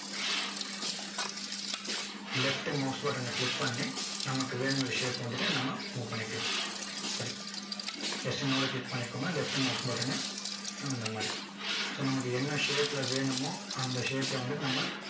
left mouse button ஐ click பண்ணி நமக்கு வேணுங்கிற shape வந்துட்டு நம்ம move பண்ணிக்கலாம் இப்படி click பண்ணிக்கோங்க left mouse button னு இந்த மாதிரி so நமக்கு என்ன shape ல வேணுமோ அந்த shape ல வந்துட்டு நம்ம